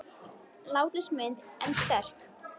Látlaus mynd en sterk.